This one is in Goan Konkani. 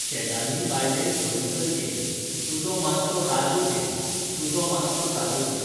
शेजान्नी बायले हय सर ये. तुजो मात्सो राजू घे, तुजो मात्सो राजू घे.